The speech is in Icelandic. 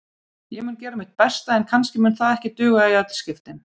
Ég mun gera mitt besta en kannski mun það ekki duga í öll skiptin.